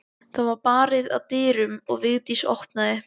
Það var barið að dyrum og Vigdís opnaði.